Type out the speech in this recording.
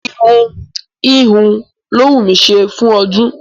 Irun híhun ló wù mí ṣe fún ọdún